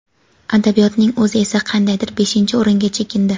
adabiyotning o‘zi esa qandaydir beshinchi o‘ringa chekindi.